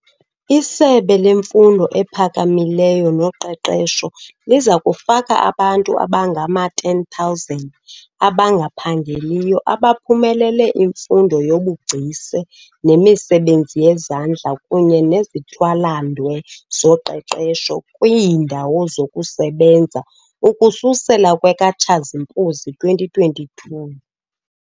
ISebe leMfundo ePhakamileyo noQeqesho liza kufaka abantu abangama-10 000 abangaphangeliyo abaphumelele imfundo yobugcisa nemisebenzi yezandla kunye nezithwalandwe zoqeqesho kwiindawo zokusebenza ukususela kwekaTshazimpuzi 2022.